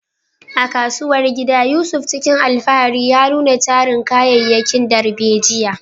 A kasuwar gida, Yusuf cikin alfahari ya nuna tarin kayayyakin darbejiya.